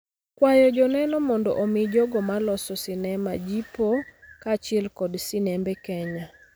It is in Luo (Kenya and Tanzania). kwayo joneno mondo omi jogo ma loso sinema jipo kaachiel kod sinembe Kenya.